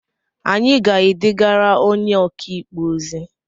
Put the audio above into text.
Anyị ga-edegara onye ọkaikpe ozi?